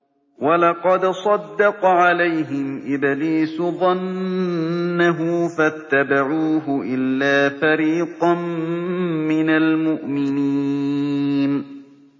وَلَقَدْ صَدَّقَ عَلَيْهِمْ إِبْلِيسُ ظَنَّهُ فَاتَّبَعُوهُ إِلَّا فَرِيقًا مِّنَ الْمُؤْمِنِينَ